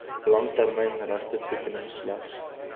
langtermyn regtetoekenning slegs